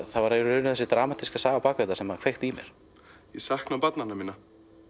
það var í raun þessi dramatíska saga sem kveikti í mér ég sakna barnanna minna